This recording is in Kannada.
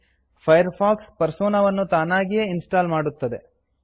ಫೈರ್ಫಾಕ್ಸ್ ಪರ್ಸೋನಾವನ್ನು ತಾನಾಗಿಯೇ ಇನ್ ಸ್ಟಾಲ್ ಮಾಡುತ್ತದೆ